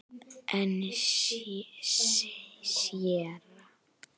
En séra